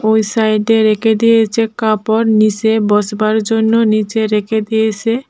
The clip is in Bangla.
ওই সাইডে রেখে দিয়েছে কাপড় নিসে বসবার জন্য নীচে রেখে দিয়েসে।